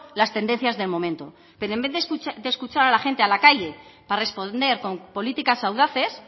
las tendencias del momento pero en vez de escuchar a la gente a la calle para responder con políticas audaces